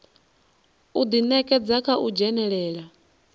u ḓinekedza kha u dzhenelela